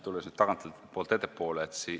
Tulen nüüd tagantpoolt ettepoole.